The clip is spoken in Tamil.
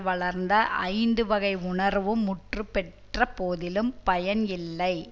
வளர்ந்த ஐந்து வகை உணர்வும் முற்றப்பெற்ற போதிலும் பயன் இல்லை